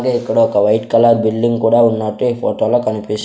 ఇక్కడొక white colour building కూడా ఉన్నట్టు ఈ ఫోటోలో కనిపిస్--